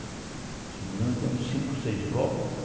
Se não me engano, tem uns cinco, seis blocos.